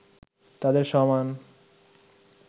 তাদের সমান